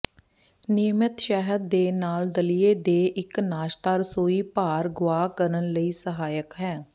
ਨਿਯਮਤ ਸ਼ਹਿਦ ਦੇ ਨਾਲ ਦਲੀਆ ਦੇ ਇੱਕ ਨਾਸ਼ਤਾ ਰਸੋਈ ਭਾਰ ਗੁਆ ਕਰਨ ਲਈ ਸਹਾਇਕ ਹੈ